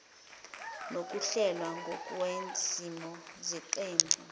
nokuhlelwa ngokwezimiso zeqembu